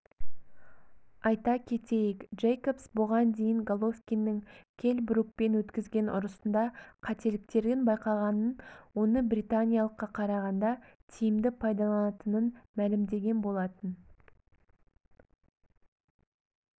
айта кетейік джейкобс бұған дейін головкиннің келл брукпен өткізген ұрысында қателіктерін байқағанын оны британиялыққа қарағанда тиімді пайдаланатынын мәлімдеген болатын